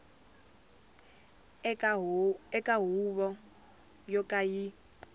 eka huvo yo ka yi